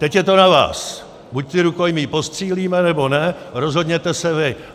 Teď je to na vás, buď ty rukojmí postřílíme nebo ne, rozhodněte se vy.